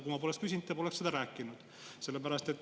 Kui ma poleks küsinud, poleks te seda rääkinud.